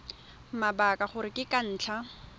mabaka gore ke ka ntlha